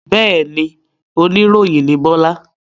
Bẹ́ẹ̀ni, oníròyìn ni Bọ́lá.